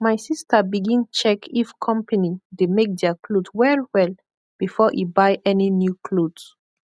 mai sista bigin check if kompany dey make dia kloth wellwell before e buy any new kloth